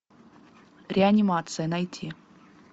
реанимация найти